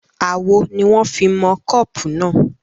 Amọ̀ ni wọn fí mọ kọ́pù náà